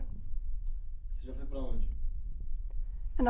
Você já foi para onde?